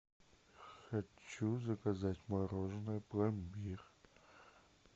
хочу заказать мороженое пломбир